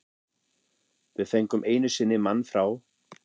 Við fengum einu sinni mann frá